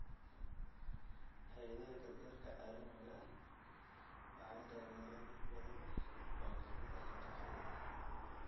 Hay'adaha gargaarka caalamiga ah waxay taageeraan in badan oo ka mid ah dugsiyada .